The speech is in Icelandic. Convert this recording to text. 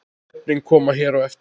Nöfnin koma hér á eftir.